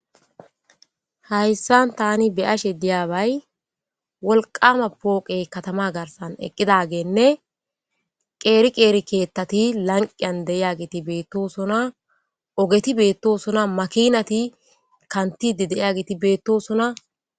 Hayisan ta be'ashe diyabay woliqama poqeyi katama garisan eqidageyinee qeri qeri kethati laniqiyan de'ageti betosona ogeti betosona makinati kanithdiday geti betesona